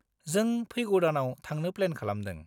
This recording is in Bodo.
-जों फैगौ दानआव थांनो प्लेन खालामदों।